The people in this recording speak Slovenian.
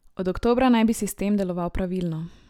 Od oktobra naj bi sistem deloval pravilno.